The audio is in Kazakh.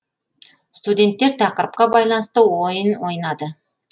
студенттер тақырыпқа байланысты ойын ойнады